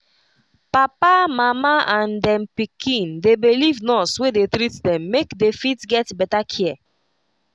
papa mama and dem pikin dey believe nurse wey dey treat them make they they fit get better care